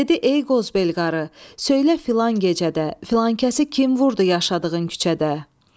Dedi ey qozbel qarı, söylə filan gecədə filankəsə kim vurdu yaşadığın küçədə.